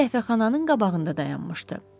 O qəhvəxananın qabağında dayanmışdı.